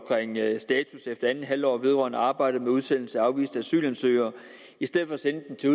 status efter andet halvår vedrørende arbejdet med udsendelse af afviste asylansøgere i stedet for at sende den til